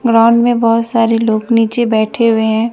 Ground में बहोत सारे लोग नीचे बैठे हुए हैं।